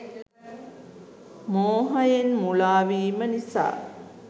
මෝහයෙන් මුළා වීම නිසා